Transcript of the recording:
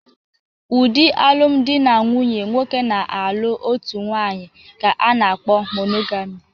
Ụdị alụmdi na nwunye nwoke na-alụ otu nwaanyị ka a na-kpọ monogami.